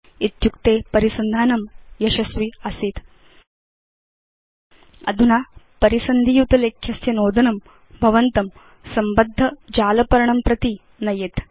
इत्युक्ते परिसन्धानं यशस्वि आसीत्160 अधुना परिसन्धि युत लेख्यस्य नोदनं भवन्तं संबद्ध जालपर्णं प्रति नयेत्